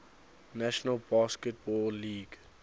national basketball league